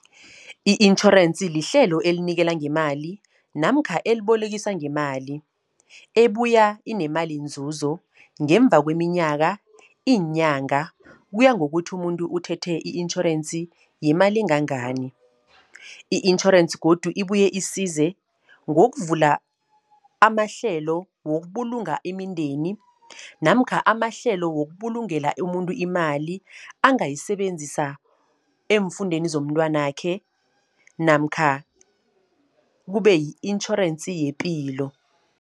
I-itjhorensi lihlelo elinikela ngemali, namkha elibolekisa ngemali. Ebuya inemali nzuzo ngemva kweminyaka, iinyanga, kuya ngokuthi umuntu uthethe i-intjhorensi yemali engangani. I-intjhorensi godu, ibuye isize ngokuvula amahlelo, wokubulunga imindeni. Namkha amahlelo wokubulungela umuntu imali, angayisebenzisa eemfundweni zomntwanakhe, namkha kube yi-intjhorensi yepilo.